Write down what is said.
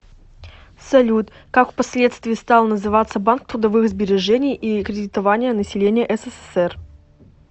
салют как впоследствии стал называться банк трудовых сбережений и кредитования населения ссср